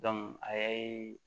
a ye